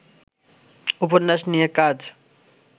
উপন্যাস নিয়ে কাজ